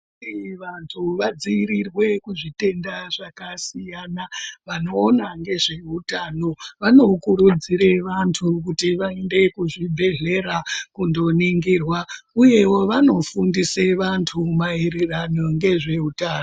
Vantu vadzivirirwe kuzvitenda zvakasiyana vanoona ngezvehutano vanokuudzire vantu kuti vaende kuzvibhedhlera kundoningirwa, uyevo vanofundise vantu maererano ngezvehutano.